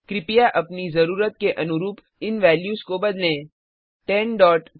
कृपया अपनी जरूरत के अनुरूप इन वेल्यूस को बदलें